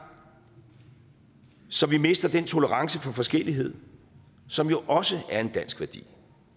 så vi mister den tolerance for forskellighed som jo også er en dansk værdi